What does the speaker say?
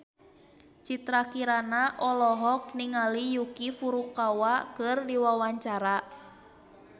Citra Kirana olohok ningali Yuki Furukawa keur diwawancara